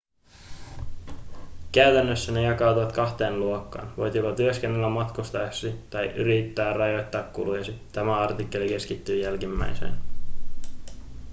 käytännössä ne jakautuvat kahteen luokkaan voit joko työskennellä matkustaessasi tai yrittää rajoittaa kulujasi tämä artikkeli keskittyy jälkimmäiseen